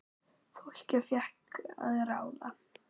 Fólkið fékk að ráða.